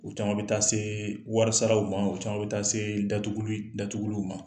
O caman bɛ taa see wɔri saraw ma. O caman bɛ taa see datuguli datuguliw ma.